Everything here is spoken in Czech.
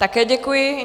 Také děkuji.